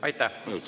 Aitäh!